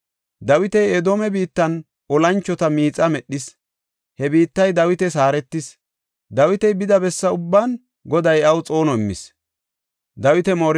Dawiti Edoome biittan olanchota miixa medhis; he biittay Dawitas haaretis. Dawiti bida bessa ubban Goday iyaw xoono immis.